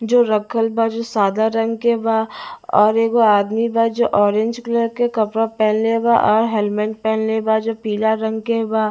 जो रखल बा जो सदा रंग के बा और एगो आदमी बा जो ऑरेंज कलर के कपड़ा पेनहले बा आ हेलमेट पहिनले बा जे पीला रंग के बा।